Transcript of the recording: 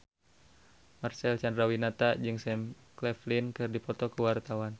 Marcel Chandrawinata jeung Sam Claflin keur dipoto ku wartawan